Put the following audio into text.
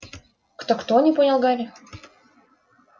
кто-кто не понял гарри